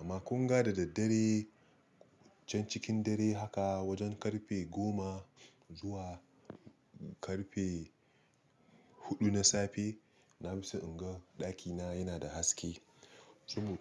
Amma kun ga da daddare can cikin dare haka wajen karfe goma zuwa karfe huɗu na safe, na fi so in ga ɗakina yana da haske sabo-